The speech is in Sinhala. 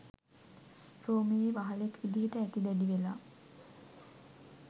රෝමයේ වහලෙක් විදිහට ඇති දැඩි වෙලා